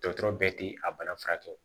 Dɔgɔtɔrɔ bɛɛ tɛ a bana furakɛ